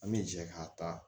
An bɛ jɛ ka taa